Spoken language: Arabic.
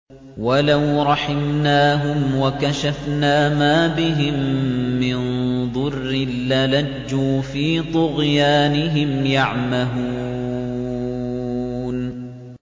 ۞ وَلَوْ رَحِمْنَاهُمْ وَكَشَفْنَا مَا بِهِم مِّن ضُرٍّ لَّلَجُّوا فِي طُغْيَانِهِمْ يَعْمَهُونَ